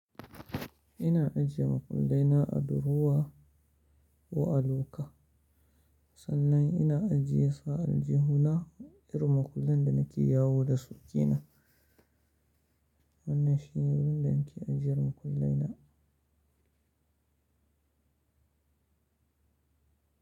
Ina ajiye makullai na a durowa ko a loka. Sannan ina ajiye su a aljihuna irin makullan da nake yawo da sukenan. Wannan shine wurin da nake ajiyer makullai na.